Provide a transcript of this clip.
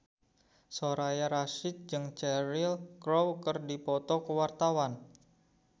Soraya Rasyid jeung Cheryl Crow keur dipoto ku wartawan